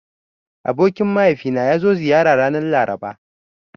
Abokin mahaifina ya zo ziyara ranar Laraba.